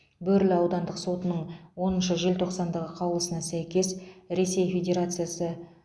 бөрлі аудандық сотының оныншы желтоқсандағы қаулысына сәйкес ресей федерациясы